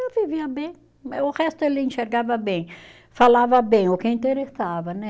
Eu vivia bem, eh o resto ele enxergava bem, falava bem, o que interessava, né?